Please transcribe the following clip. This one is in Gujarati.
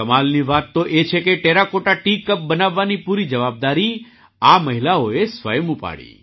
કમાલની વાત તો એ છે કે ટેરાકોટા ટી કપ બનાવવાની પૂરી જવાબદારી આ મહિલાઓએ સ્વયં ઉપાડી